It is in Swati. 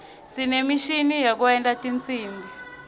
sinemishini yekwenta tinsimbi